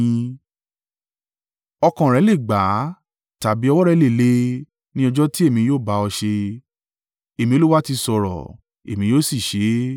Ọkàn rẹ le gbà á, tàbí ọwọ́ rẹ lè le, ní ọjọ́ tí èmi yóò bá ọ ṣé? Èmi Olúwa ti sọ̀rọ̀, Èmi yóò sì ṣe é.